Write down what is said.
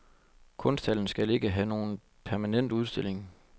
Kunsthallen skal ikke have nogen permanent udstilling.